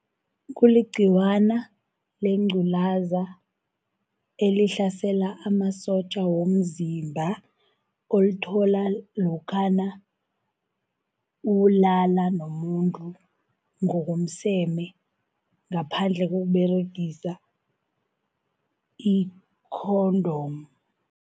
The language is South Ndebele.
Kuligciwana lengculaza elihlasela amasotja womzimba, olithola lokhana ulala nomuntu, ngokomseme ngaphandle kokUberegisa i-condom.